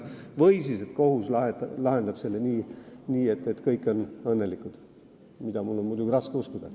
Või siis kohus lahendab selle nii, et kõik on õnnelikud – seda on mul muidugi raske uskuda.